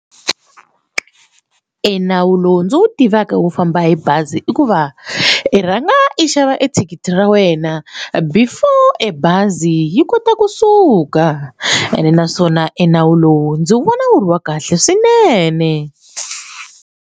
Enawu lowu ndzi wu tivaka wo famba hi bazi i ku va i rhanga i xava ethikithi ra wena before e bazi yi kota kusuka ene naswona enawu lowu ndzi wu vona wu ri wa kahle swinene.